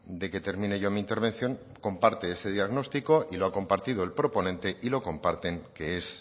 de que termine yo mi intervención comparte ese diagnóstico y lo ha compartido el proponente y lo comparten que es